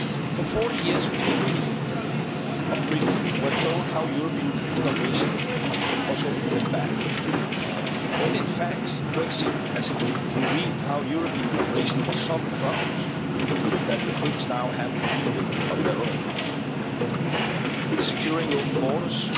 For forty years, the people of Britain were told how European cooperation was holding them back, but in fact, Brexit has revealed how European cooperation was solving problems that the Brits now have to deal with on their own securing open borders,